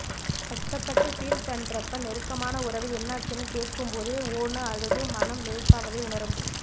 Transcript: கஷ்டப்பட்டு ஃபீல் பண்றப்ப நெருக்கமான உறவு என்னாச்சுனு கேக்கும்போதே ஓ ன்னு அழுது மனம் லேசாவதை உணரமுடியும்